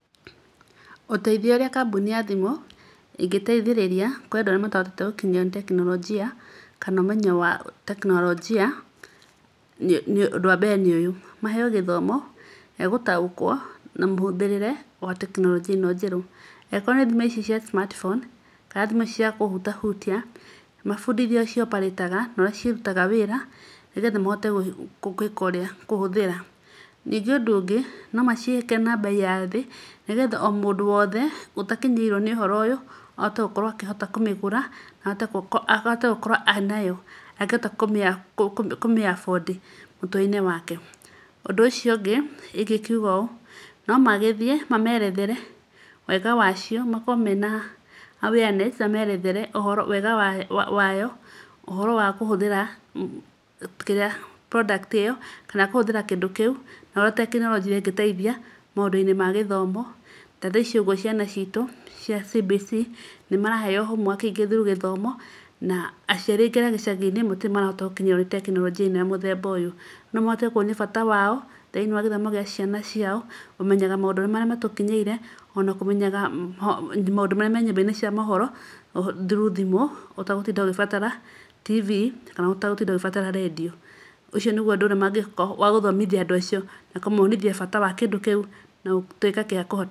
Ũteithio ũrĩa kambuni ya thimũ ĩngĩteithĩrĩria kwendwo nĩ arĩa matahotete gũkinyĩrwo nĩ tekinorojĩ kana ũmenyo wa tekinorojĩ ũndũ wa mbere nĩ ũyũ; maheo gĩthomo gĩa gũtaũkwo na mũhũthĩrĩre wa tekinorojĩ ĩno njerũ. Angĩkorwo nĩ thimũ ici cia smart phone kana thimũ ici cia kũhutahutia mabundithio ci operate na ũrĩa cirutaga wĩra nĩgetha mahote kũhũthĩra. Ningĩ ũndũ ũngĩ no macihĩke na mbei ya thĩ nĩgetha o mũndũ wothe ũtakinyĩirwo nĩ ũhoro ũyũ ahote gũkorwo okĩhota kũmĩgũra na ahote gũkorwo enayo na akĩhote kũmĩ afford mũtũrĩre-inĩ wake. Ũndũ ũcio ũngĩ ingĩkiuga ũũ no magĩthiĩ mamerethere wega wacio, makorwo mena awareness amerethere wega wayo, ũhoro wa kũhũthĩra kĩrĩa product ĩyo kana kũhũthĩra kĩndũ kĩu na ũrĩa tekinorojĩ ĩngĩteithia maũndũ-inĩ ma gĩthomo. Ta thaa ici ũguo ciana citũ cia CBC nĩ maraheo homework ingĩ through gĩthomo na andũ aciari aingĩ a gĩcagi-inĩ matirĩ marahota gũkinyĩrwo nĩ tekinorojĩ ĩno ya mũthemba ũyũ. No mahote kuonia bata wao thĩinĩ wa gĩthomo gĩa ciana ciao, kũmenyaga maũndũ marĩa matũkinyĩire ona kũmenyaga maũndũ marĩa me myũmba-inĩ cia mohoro through thimũ, ũtegũtinda ũgĩbatara TV kana ũtegũtinda ũgĩbatara redio. Ũcio nĩguo ũndũ ũrĩa mangĩka wagũthomithia andũ acio na kũmonithia bata wa kĩndũ kĩu na gũtuĩka gĩa kũ....